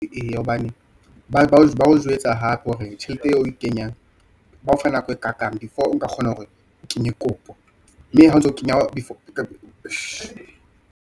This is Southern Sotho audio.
Eya hobane bao jwetsa hape hore tjhelete eo o e kenyang bao fa nako e kakang before o nka kgona hore o kenye kopo mme .